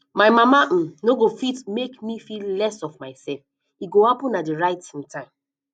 my mama um no go fit um um make me feel less of myself e go happen at the right um time